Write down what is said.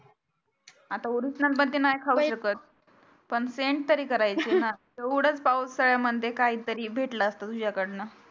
आता नाही खाऊ शकत पण same तरी करायचा ना पावसाळ्यामध्ये काहीतरी भेटला असता तुझ्याकडनं